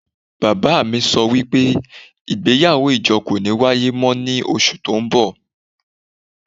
Baba mi so wipe igbeyawo ijo ko ni waye mo ni osu to nbo